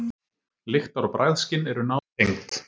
Lyktar- og bragðskyn eru nátengd.